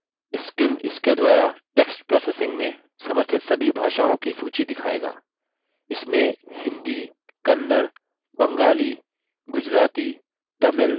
scim इसके द्वारा text processing में समर्थित सभी भाषाओं की सूची दिखायेगा